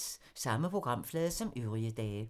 Samme programflade som øvrige dage